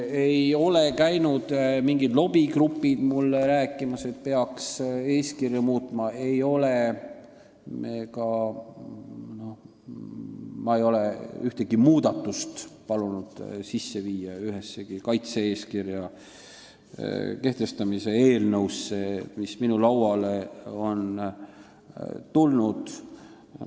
Ei ole käinud mingid lobigrupid mulle rääkimas, et peaks eeskirju muutma, ja mina ei ole palunud ühtegi muudatust sisse viia ühessegi kaitse-eeskirja kehtestamise eelnõusse, mis minu lauale on tulnud.